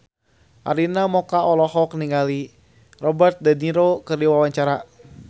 Arina Mocca olohok ningali Robert de Niro keur diwawancara